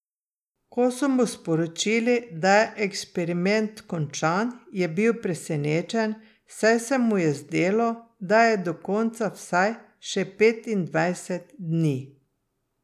Ko so mu sporočili, da je eksperiment končan, je bil presenečen, saj se mu je zdelo, da je do konca vsaj še petindvajset dni.